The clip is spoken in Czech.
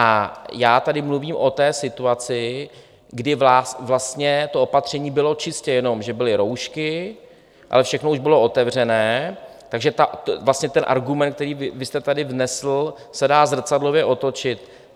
A já tady mluvím o té situaci, kdy vlastně to opatření bylo čistě jenom, že byly roušky, ale všechno už bylo otevřené, takže vlastně ten argument, který vy jste tady vznesl, se dá zrcadlově otočit.